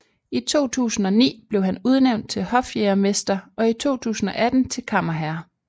I 2009 blev han udnævnt til hofjægermester og i 2018 til kammerherre